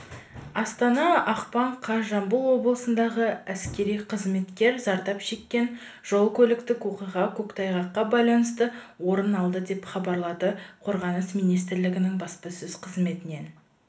астана ақпан қаз жамбыл облысындағы әскери қызметкер зардап шеккен жол-көліктік оқиға көктайғаққа байланысты орын алды деп хабарлады қорғаныс министрлігінің баспаөз қызметінен